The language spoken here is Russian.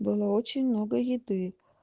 было очень много еды